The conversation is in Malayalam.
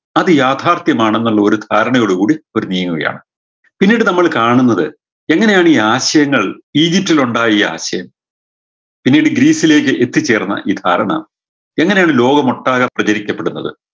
അത് യാഥാർഥ്യമാണ് എന്നുള്ളൊരു ധാരണയോട് കൂടി ഇവര് നീങ്ങുകയാണ് പിന്നീട് നമ്മള് കാണുന്നത് എങ്ങനെയാണ് ഈ ആശയങ്ങൾ ഈജിപ്തിലുണ്ടായ ഈ ആശയം പിന്നീട് ഗ്രീസിലേക്ക് എത്തിച്ചേർന്ന ഈ ധാരണ എങ്ങനെയാണ് ലോകമൊട്ടാകെ പ്രചരിക്കപ്പെടുന്നത്